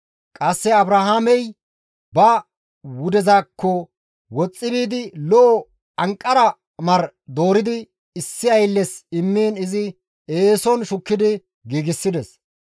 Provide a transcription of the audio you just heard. Qasse Abrahaamey ba wudezaakko woxxi biidi lo7o anqara mar dooridi issi aylles immiin izi eeson shukkidi giigsides.